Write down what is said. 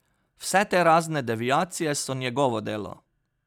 Vse te razne deviacije so njegovo delo.